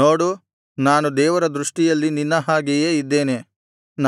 ನೋಡು ನಾನು ದೇವರ ದೃಷ್ಟಿಯಲ್ಲಿ ನಿನ್ನ ಹಾಗೆಯೇ ಇದ್ದೇನೆ